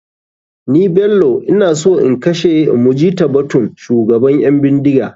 Ni bello ina so in kashe mujitabatun shugaban ƴan bindiga.